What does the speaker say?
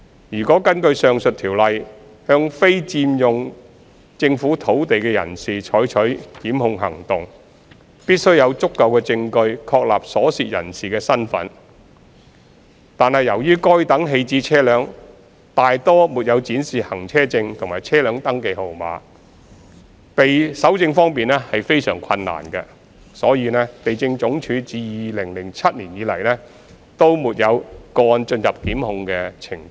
若要根據上述條例向非法佔用政府土地的人士採取檢控行動，必須有足夠證據確立所涉人士的身份，惟由於該等棄置車輛大多沒有展示行車證和車輛登記號碼，搜證方面非常困難，因此，地政總署自2007年沒有個案進入檢控程序。